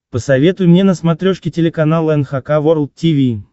посоветуй мне на смотрешке телеканал эн эйч кей волд ти ви